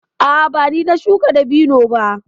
A'a, ba ni na shuka dabino ba.